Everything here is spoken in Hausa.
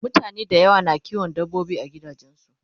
mutane da yawa na kiwon dabbobi a gidajensu